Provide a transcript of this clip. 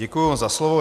Děkuji za slovo.